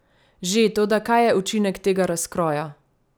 Že, toda kaj je učinek tega razkroja?